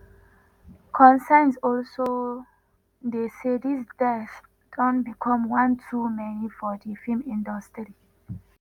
concerns also dey say dis deaths don become one too many for di feem industry.